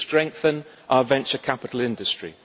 we will strengthen our venture capital industry